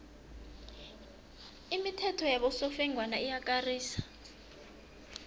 imithetho yabosofengwana iyakarisa